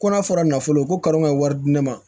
Kɔnɔ fɔra nafolo ko ka kan ka wari di ne ma